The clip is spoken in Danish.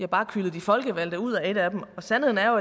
bare kylet de folkevalgte ud af et af dem sandheden er